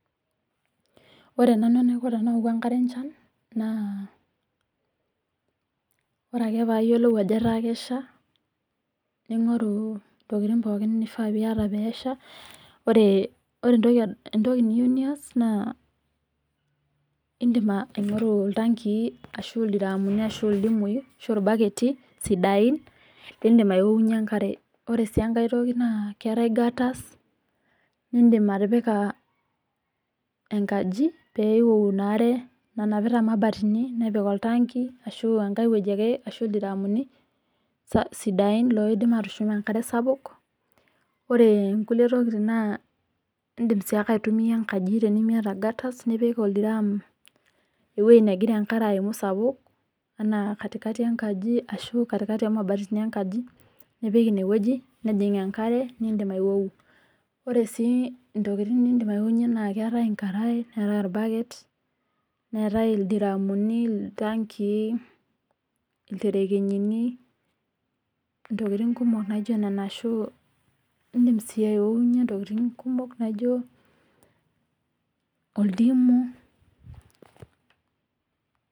Ore nanu enaiko enaiko tenaoku enkare enchan naa, ore ake payiolou ajo etaa kejo pesha naingoru ntokitin nifaa piata pesha , ore entoki niyieu nias naa indim aingoru iltankii ashu ildiramuni ashu ildimui ashu irbaketi sidain lindim aiwokunyie enkare. Ore sii enkae naa keetae gutars nindim atipika enkaji pee iwoku enkare nanapita mabatini nepik oltaki ashuenkae wueji ake loidim atushum enkare sapuk ore nkulie tokitin naa indim sii ake aitumia enkaji tenimiata gutars nipik oldiram ewuei negira aimu enkare sapuk anaa katikati enkaji ashu katikati omabatini enkaji nipik inewueji nejing enkare nindim aiwou, ore si ntokitin nindim aiwowunyie naa keetae enkarae neetae orbaket , neetae ildaramuni , iltakii , interekenyini , ntokitini kumok naijo ashu indim sii aiwonyie ntokitin kumok naijo oltimu